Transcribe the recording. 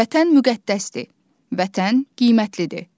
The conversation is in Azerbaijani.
Vətən müqəddəsdir, Vətən qiymətlidir.